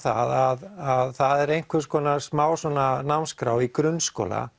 að það er einhvers konar smá námsskrá í grunnskóla